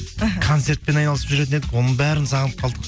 іхі концертпен айналысып жүретін едік оның бәрін сағынып қалдық